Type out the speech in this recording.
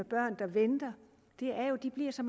børn der venter er jo at de bliver så